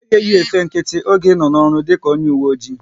Ị gaghị eyi efe nkịtị n'oge ị nọ n'ọrụ dịka onye uwe oji!